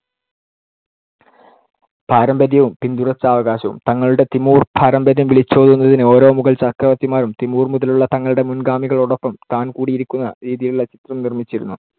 പാരമ്പര്യവും പിന്തുടർച്ചാവകാശവും. തങ്ങളുടെ തിമൂർ പാരമ്പര്യം വിളിച്ചോതുന്നതിന്‌ ഓരോ മുഗൾ ചക്രവർത്തിമാരും തിമൂർ മുതലുള്ള തങ്ങളുടെ മുൻ‌ഗാമികളോടൊപ്പം താൻ കൂടി ഇരിക്കുന്ന രീതിയിലുള്ള ചിത്രം നിർമ്മിച്ചിരുന്നു.